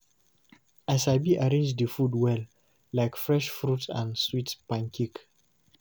I sabi arrange the food well, like fresh fruit and sweet pancake.